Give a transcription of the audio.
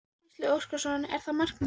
Gísli Óskarsson: Er það markmiðið?